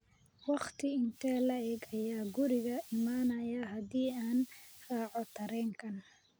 Waqti intee le'eg ayaan guriga imanayaa haddii aan raaco tareenkan?